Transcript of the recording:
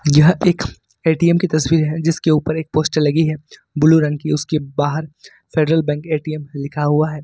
यह एक ए_टी_एम की तस्वीर है जिसके ऊपर एक पोस्टर लगी है ब्लू रंग की उसके बाहर फेडरल बैंक ए_टी_एम लिखा हुआ है।